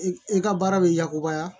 I ka baara bɛ yakubaya